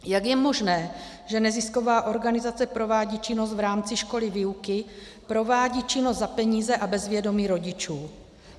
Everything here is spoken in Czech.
Jak je možné, že nezisková organizace provádí činnost v rámci školní výuky, provádí činnost za peníze a bez vědomí rodičů?